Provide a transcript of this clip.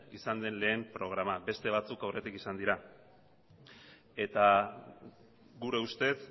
izan den lehen programa beste batzuk aurretik izan dira eta gure ustez